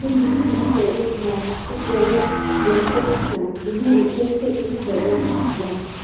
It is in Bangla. এখন দিদি কোন জায়গায় এমনি হয়না সব জায়গায় reference চায় বিনা reference -এ কোন জায়গা নেই মাখার